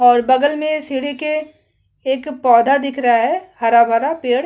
और बगल में सीढ़ी के एक पौधा दिख रहा है हरा भरा पेड़--